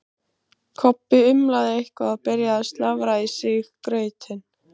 Kobbi umlaði eitthvað og byrjaði að slafra í sig grautinn.